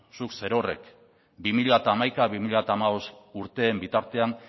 zuk zerorrek bi mila hamaika bi mila hamabost urteen bitartean